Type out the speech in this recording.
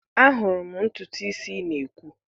Ahụrụ m ntutu isi ị na-ekwu.